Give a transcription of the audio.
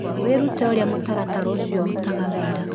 Wĩrute ũrĩa mũtaratara ũcio ũrutaga wĩra.